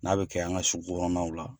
N'a bɛ kɛ an ka sugu kɔnɔnaw la.